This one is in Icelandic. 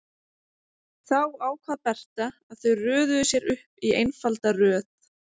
Þá ákvað Berta að þau röðuðu sér upp í einfalda röð.